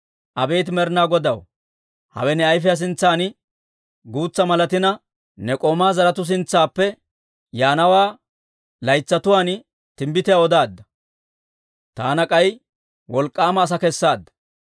Abeet Med'inaa Godaw, hawe ne ayfiyaa sintsan guutsa malatina, ne k'oomaa zaratuu sintsaappe yaanawaa laytsatuwaan timbbitiyaa odaadda. Taana k'ay wolk'k'aama asaa kessaadda.